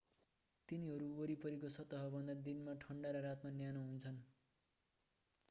तिनीहरू वरिपरिको सतहभन्दा दिनमा ठण्डा र रातमा न्यानो हुन्छन्